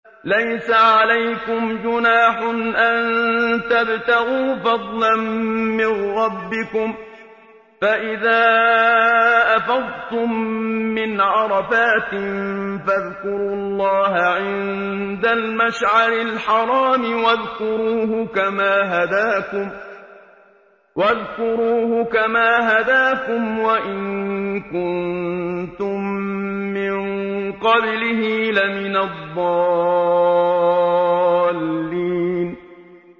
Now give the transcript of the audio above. لَيْسَ عَلَيْكُمْ جُنَاحٌ أَن تَبْتَغُوا فَضْلًا مِّن رَّبِّكُمْ ۚ فَإِذَا أَفَضْتُم مِّنْ عَرَفَاتٍ فَاذْكُرُوا اللَّهَ عِندَ الْمَشْعَرِ الْحَرَامِ ۖ وَاذْكُرُوهُ كَمَا هَدَاكُمْ وَإِن كُنتُم مِّن قَبْلِهِ لَمِنَ الضَّالِّينَ